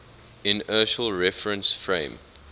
inertial reference frame